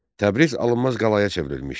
Təbriz alınmaz qalaya çevrilmişdi.